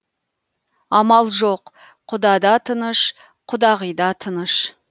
амал жоқ құда да тыныш құдағи да тыныш